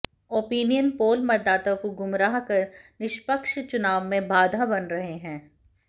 opinion poll मतदाता को गुमराह कर निश्पक्ष चुनाव में बाधा बन रहे हैं